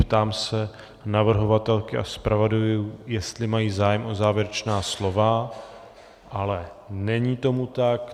Ptám se navrhovatelky a zpravodajů, jestli mají zájem o závěrečná slova, ale není tomu tak.